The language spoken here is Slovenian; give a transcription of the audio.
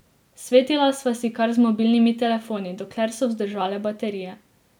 Svetila sva si kar z mobilnimi telefoni, dokler so vzdržale baterije.